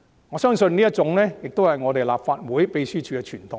我相信這是立法會秘書處的傳統。